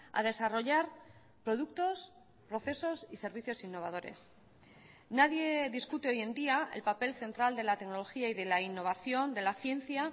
a desarrollar productos procesos y servicios innovadores nadie discute hoy en día el papel central de la tecnología y de la innovación de la ciencia